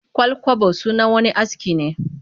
Ƙwal-kwabo sunan wani aski ne